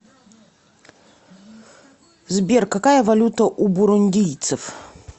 сбер какая валюта у бурундийцев